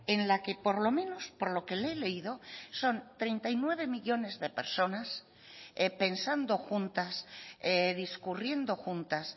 en la que por lo menos por lo que le he leído son treinta y nueve millónes de personas pensando juntas discurriendo juntas